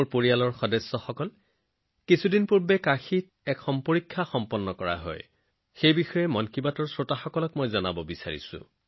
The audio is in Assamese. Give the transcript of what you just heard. মোৰ পৰিয়ালৰ সদস্যসকল কিছুদিন আগতে কাশীত এটা পৰীক্ষা হৈছিল যিটো মই মন কী বাতৰ দৰ্শকক কবই লাগিব